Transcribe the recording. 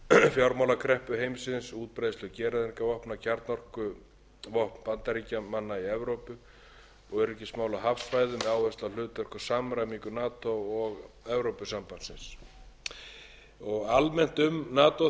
fjármálakreppu heimsins útbreiðslu gereyðingarvopna kjarnorkuvopn bandaríkjamanna í evrópu og öryggismál á hafsvæðum með áherslu á hlutverk og samræmingu nato og evrópusambandsins almennt um nato